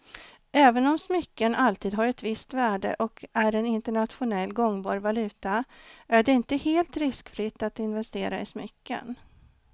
Även om smycken alltid har ett visst värde och är en internationellt gångbar valuta är det inte helt riskfritt att investera i smycken.